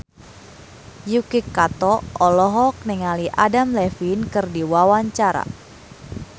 Yuki Kato olohok ningali Adam Levine keur diwawancara